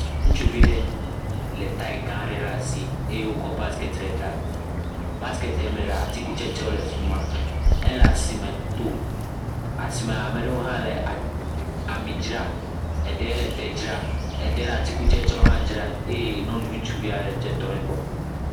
Ŋtsuvi ɖe le taya gã ɖe ɖe asi eye wokɔ basiketi ɖe ta. Basiketia me atikutsetsewo le afi ma. Ele asime do. Asime ame ɖewo hã le a ami dzra. Eɖe le te dzra. Eɖe le atikutsetsewo hã dzra eye nyɔnuvi ŋutsuvi ɖe ha tɔ ɖe gbɔ. Asime